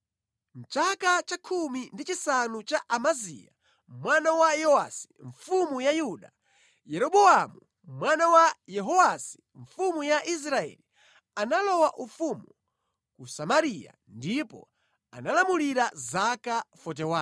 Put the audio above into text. Mʼchaka cha khumi ndi chisanu cha Amaziya mwana wa Yowasi mfumu ya Yuda, Yeroboamu mwana wa Yehowasi mfumu ya Israeli analowa ufumu ku Samariya ndipo analamulira za 41.